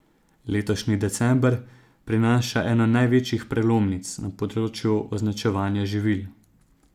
Letošnji december prinaša eno največjih prelomnic na področju označevanja živil.